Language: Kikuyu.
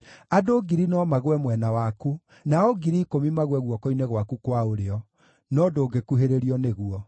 Andũ ngiri no magũe mwena waku, nao ngiri ikũmi magũe guoko-inĩ gwaku kwa ũrĩo, no ndũngĩkuhĩrĩrio nĩguo.